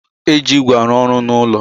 E ji ígwè arụ ọrụ n'ulo